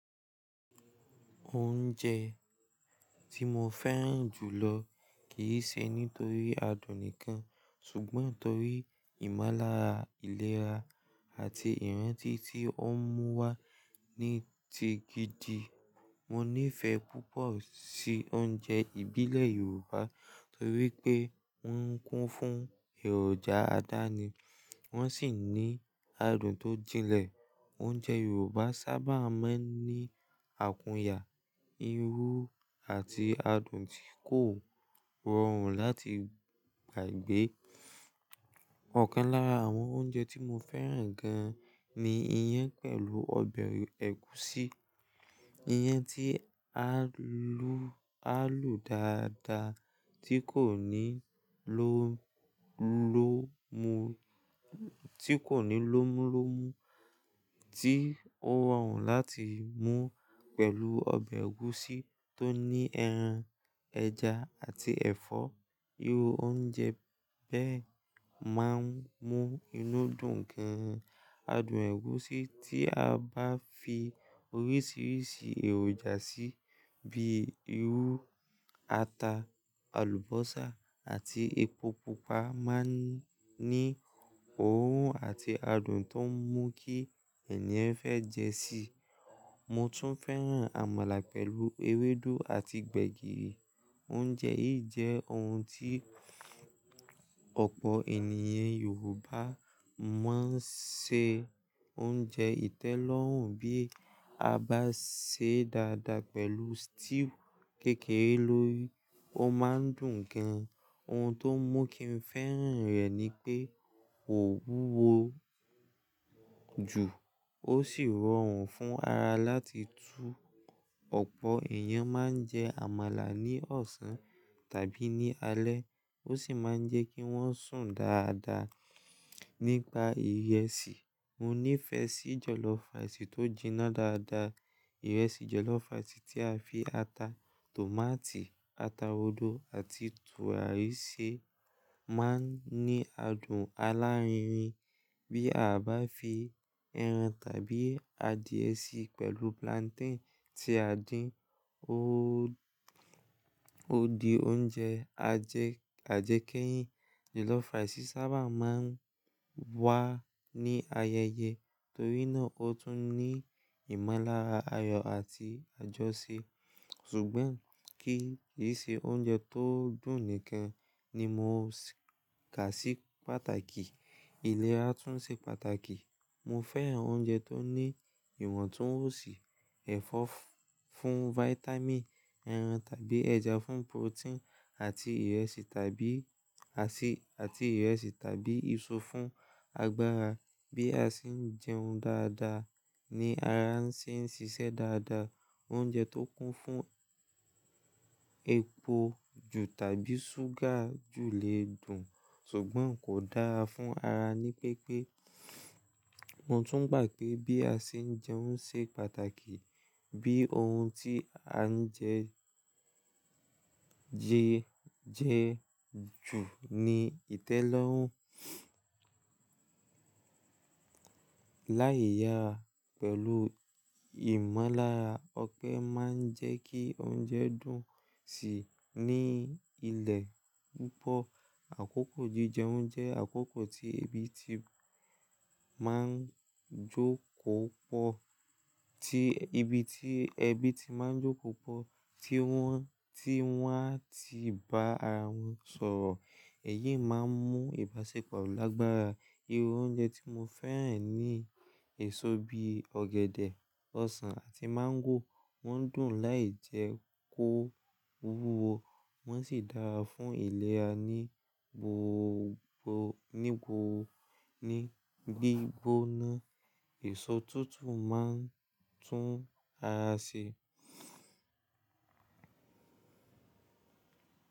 Oúnjẹ tí mo fẹ́ràn jù lọ kì í ṣe nítorí adùn nìkan, ṣùgbọ́n torí ìmonlára ìlera àti ìrántí tí ó ń mú wá ní ti gidi. Mo nífẹ̀ẹ́ púpọ̀ sí oúnjẹ ìbílẹ̀ Yorùbá torí pé wọ́n kún fún èròjà aládàáni, wọ́n sì ní adùn tó jilẹ̀. Oúnjẹ Yorùbá sábà máa ń ní àkúnyà, irú, àti adùn tí kò rọrùn láti gbàgbé. Ọ̀kan lára àwọn oúnjẹ tí mo fẹ́ràn gan ni iyán pẹ̀lú ọbẹ̀ ẹ̀gúsí. Iyán tí á lu dàda, tí kò ní lómúlomu, ti ko ni lomulomu tí ó rọrùn láti mú pẹ̀lú ọbẹ̀ ẹ̀gúsí tó ní ẹran, ẹja àti ẹ̀fọ́. Irú oúnjẹ bẹ́ẹ̀ máa ń mú inú dùn gan. Adùn ẹ̀gúsí tí a bá fi oríṣiríṣi èròjà sí bíi irú, ata, àlùbọ́sà àti epo pupa máa ń ní òórùn àti adùn tó ń mú kí ènìyàn fẹ́ jẹ́ sí i. Mo tún fẹ́ràn àmàlà pẹ̀lú ewédú àti gbẹ̀gìrì. Oúnjẹ yìí jẹ́ ohun tí ọ̀pọ̀ ènìyàn Yorùbá máa ń ṣe oúnjẹ ìtẹ́lọ́rùn bí a bá sè é dáadáa pẹ̀lú stew kékere lórí. Ó máa ń dùn gan. Ohun tó n mú kí n fẹ́ràn rẹ̀ ni pé kò wúwo jù, ó sì rọrùn fún ara láti tú. Ọ̀pọ̀ èèyàn máa ń jẹ àmàlà ní ọ̀sán tàbí ní alẹ́, ó sì máa ń jẹ́ kí wọ́n sùn dáadáa. Nípa ìrẹsì, mo nífẹ̀ẹ́ sí jollof rice tó jina dáadáa. Ìrẹsì jollof rice, tí a fi ata, tòmátì, ata oró àti tùràrí sè máa ń ní adùn alárinrin bí a bá fi ẹran tàbí adìye sí pẹ̀lú plantain tí a dín. Ó di oúnjẹ ajẹkẹ́yìn. Jollof rice sábà máa ń wá ní ayẹyẹ torí náà ó tún ní ìmolára ayọ̀ àti àjọṣe. Ṣùgbọ́n kí ì ṣe oúnjẹ tó dùn nìkan ni mo kà sí pàtàkì, ìlera tún ṣe pàtàkì. Mo fẹ́ràn oúnjẹ tó ní ìwontunwonsi, ẹ̀fọ́ fún vitamin, ẹran tàbí ẹja fún protein àti ìrẹsì tàbí àti àti ìrẹsì tàbí èso fún agbára. Bí a ṣe ń jẹun dáadáa ni ara ṣe ń ṣiṣẹ́ dáadáa. Oúnjẹ tó kún fún epo jù tàbí súgà jù lè dùn, ṣùgbọ́n kò dára fún ara ni pípé. Mo tún gbà pé bí a ṣe ń jẹun ṣe pàtàkì. Bí ohun tí a ń jẹ jẹ́ jù ni ìtẹ́lọ́rùn. Láì yára pẹ̀lú ìmolára, ọpe máa ń jẹ́ kí oúnjẹ dùn sì ní ilẹ̀ púpọ̀. Àkókò jíjẹun jẹ́ àkókò tí ebi ti máa ń jókò pọ̀, tí wọ́n mti won á ti bá ara wọn sọ̀rọ̀. Ẹ̀yíi máa ń mú ìbáṣepọ̀ lágbára. Irú oúnjẹ tí mo fẹ́ràn ní èso bí ọ̀gẹ̀dẹ̀, ọsàn àti máńgò. Wọ́n dùn láì jẹ́ kó wúwo, wọ́n sì dára fún ìlera ní gbígbóná. Èso tútù máa ń tún ara ṣe.